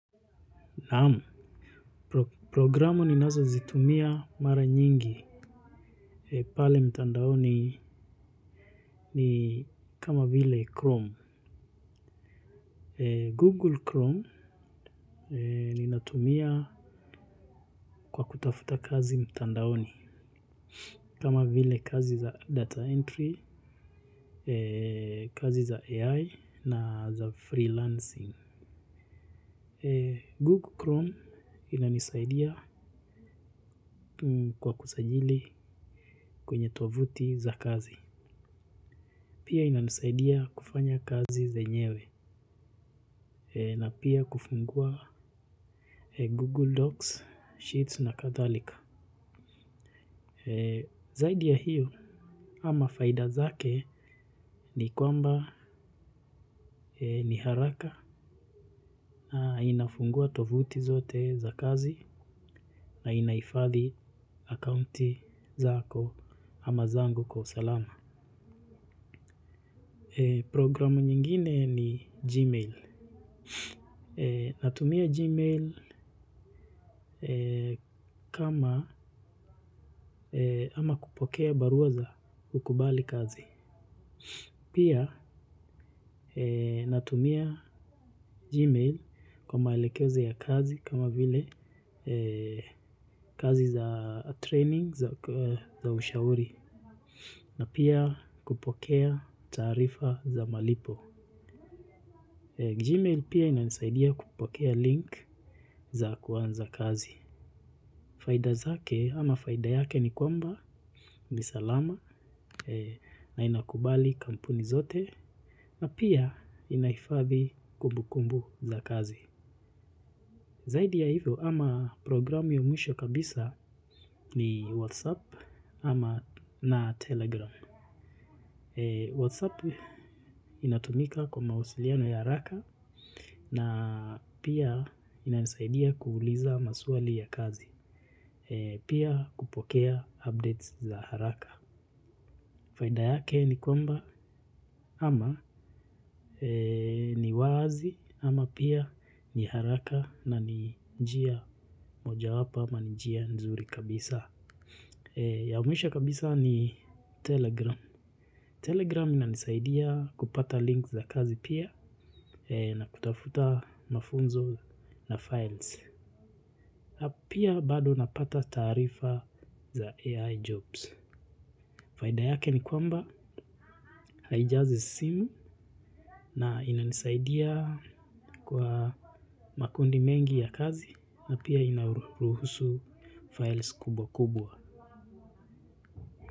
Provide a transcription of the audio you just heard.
Naamu, programu ninazo zitumia mara nyingi pale mtandaoni ni kama vile Chrome. Google Chrome ninatumia kwa kutafuta kazi mtandaoni kama vile kazi za data entry, kazi za AI na za freelancing. Google Chrome inanisaidia kwa kusajili kwenye tovuti za kazi. Pia ina nisaidia kufanya kazi zenyewe na pia kufungua Google Docs, Sheets na kadhalika. Zaidi ya hiyo ama faida zake ni kwamba ni haraka na inafungua tovuti zote za kazi na inaifadhi akaunti zako ama zangu kwa usalama. Programu nyingine ni Gmail. Natumia Gmail kama ama kupokea barua za kukubali kazi. Pia natumia Gmail kwa maelekezo ya kazi kama vile kazi za training za ushauri. Na pia kupokea taarifa za malipo Gmail pia ina nisaidia kupokea link za kuanza kazi. Faida zake ama faida yake ni kwamba ni salama na inakubali kampuni zote. Na pia inahifadhi kumbukumbu za kazi. Zaidi ya hivyo ama programu ya mwisho kabisa ni WhatsApp ama na Telegram WhatsApp inatumika kwa mawasiliano ya haraka na pia inanisaidia kuuliza maswali ya kazi pia kupokea updates za haraka. Faida yake ni kwamba ama ni wazi ama pia ni haraka na ni njia moja wapo ama njia nzuri kabisa. Ya mwisho kabisa ni Telegram. Telegram ina nisaidia kupata link za kazi pia na kutafuta mafunzo na files. Pia bado napata taarifa za AI jobs. Faida yake ni kwamba haijazi simu na ina nisaidia kwa makundi mengi ya kazi na pia inaruhusu files kubwa kubwa.